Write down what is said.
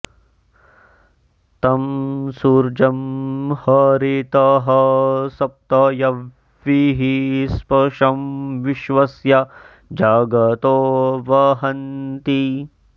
तं सूर्यं॑ ह॒रितः॑ स॒प्त य॒ह्वीः स्पशं॒ विश्व॑स्य॒ जग॑तो वहन्ति